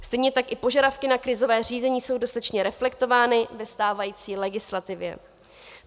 Stejně tak i požadavky na krizové řízení jsou dostatečně reflektovány ve stávající legislativě.